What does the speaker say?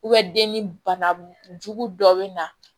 den ni bana jugu dɔ bɛ na